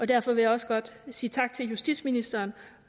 derfor vil jeg også godt sige tak til justitsministeren